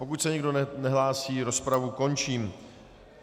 Pokud se nikdo nehlásí, rozpravu končím.